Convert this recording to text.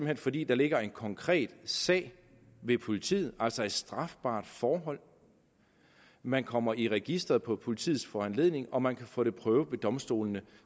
der fordi der ligger en konkret sag ved politiet altså et strafbart forhold man kommer i registeret på politiets foranledning og man kan få det prøvet ved domstolene